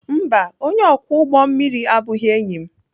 Mba, onye ọkwọ ụgbọ mmiri abụghị enyi m.